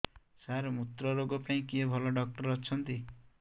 ସାର ମୁତ୍ରରୋଗ ପାଇଁ କିଏ ଭଲ ଡକ୍ଟର ଅଛନ୍ତି